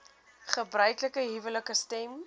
gebruiklike huwelike stem